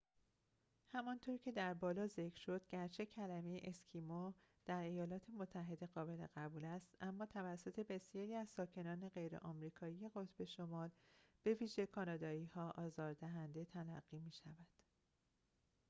همانطور که در بالا ذکر شد گرچه کلمه اسکیمو در ایالات متحده قابل قبول است اما توسط بسیاری از ساکنان غیر آمریکایی قطب شمال به ویژه کانادایی‌ها آزاردهنده تلقی می‌شود